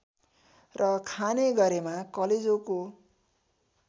र खाने गरेमा कलेजोको